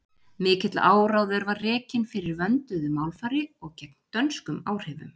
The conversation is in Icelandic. Mikill áróður var rekinn fyrir vönduðu málfari og gegn dönskum áhrifum.